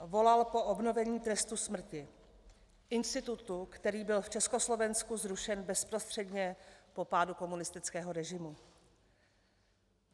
Volal po obnovení trestu smrti, institutu, který byl v Československu zrušen bezprostředně po pádu komunistického režimu.